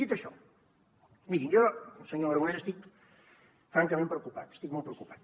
dit això miri jo senyor aragonès estic francament preocupat estic molt preocupat